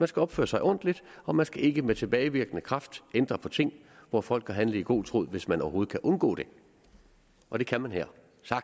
skal opføre sig ordentligt og man skal ikke med tilbagevirkende kraft ændre på ting hvor folk har handlet i god tro hvis man overhovedet kan undgå det og det kan man her